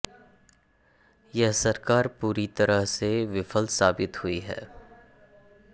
यह सरकार पूरी तरह से विफल साबित हुई है